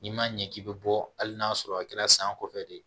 N'i ma ɲɛ k'i bɛ bɔ hali n'a sɔrɔ a kɛra san kɔfɛ de ye